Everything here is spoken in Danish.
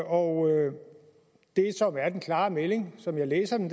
og det som er den klare melding som jeg læser den